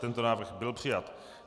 Tento návrh byl přijat.